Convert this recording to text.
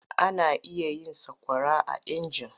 Ana iya yin sakwara a inji.